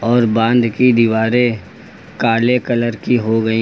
और बांध की दीवारें काले कलर की हो गई--